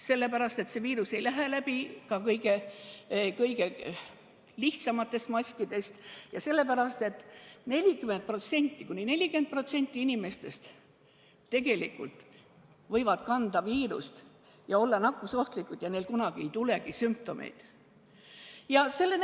Sellepärast, et see viirus ei lähe läbi ka kõige lihtsamatest maskidest, ja sellepärast, et kuni 40% inimestest võivad tegelikult kanda viirust ja olla nakkusohtlikud ilma, et neil kunagi sümptomeid esineks.